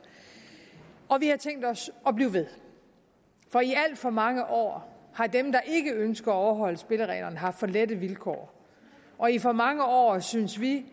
og vi har tænkt os at blive ved for i alt for mange år har dem der ikke ønsker at overholde spillereglerne haft for lette vilkår og i for mange år synes vi